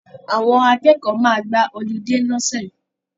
Àwọn akẹ́kọ̀ọ́ máa gba họlidé ní ọ̀sẹ̀ yìí